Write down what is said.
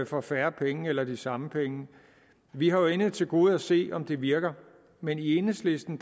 for færre penge eller de samme penge vi har jo endnu til gode at se om det virker men i enhedslisten